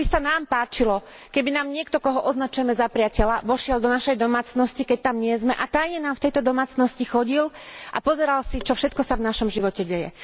Ako by sa nám páčilo, keby nám niekto, koho označujeme za priateľa, vošiel do našej domácnosti, keď tam nie sme, a tajne nám v tejto domácnosti chodil a pozeral si, čo všetko sa v našom živote deje?